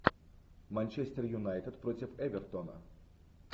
манчестер юнайтед против эвертона